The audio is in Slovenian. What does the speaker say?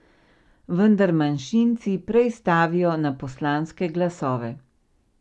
Vendar manjšinci prej stavijo na poslanske glasove.